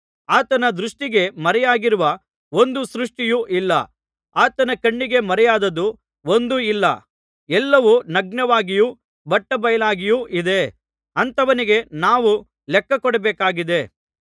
ಆತನ ದೃಷ್ಟಿಗೆ ಮರೆಯಾಗಿರುವ ಒಂದು ಸೃಷ್ಟಿಯೂ ಇಲ್ಲ ಆತನ ಕಣ್ಣಿಗೆ ಮರೆಯಾದದ್ದು ಒಂದೂ ಇಲ್ಲ ಎಲ್ಲವೂ ನಗ್ನವಾಗಿಯೂ ಬಟ್ಟಬಯಲಾಗಿಯೂ ಇದೆ ಅಂಥವನಿಗೆ ನಾವು ಲೆಕ್ಕಕೊಡಬೇಕಾಗಿದೆ